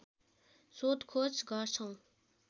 सोधखोज गर्छौं